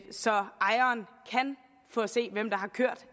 så ejeren kan få at se hvem der har kørt